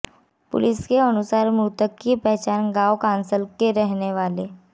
police के अनुसार मृतक की पहचान गांव कांसल के रहने वाले